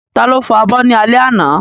Ta ló fọ abọ́ ní alẹ́ àná?